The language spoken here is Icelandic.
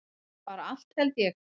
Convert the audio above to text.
Bara allt held ég.